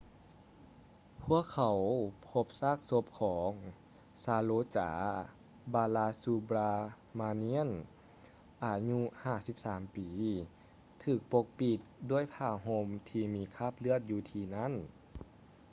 ພວກເຂົາພົບຊາກສົບຂອງ ຊາໂຣຈາ ບາລາຊູບຼາມານຽນ saroja balasubramanian ອາຍຸ 53 ປີ ຖືກປົກປິດດ້ວຍຜ້າຫົ່ມທີ່ມີຄາບເລືອດ ຢູ່ທີ່ນັ້ນ